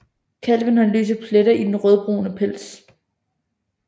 Kalven har lyse pletter i den rødbrune pels